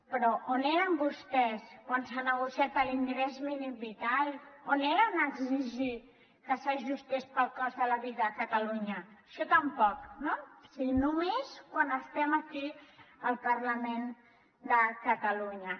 però on eren vostès quan s’ha negociat l’ingrés mínim vital on eren a exigir que s’ajustés al cost de la vida a catalunya això tampoc no o sigui només quan estem aquí al parlament de catalunya